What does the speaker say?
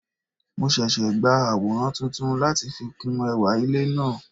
Mo sese gba aworan tuntun lati fi kun ewa ile naa